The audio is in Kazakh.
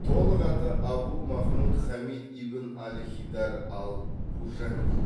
толық аты абу махмуд хамид ибн ал хидар ал қужанди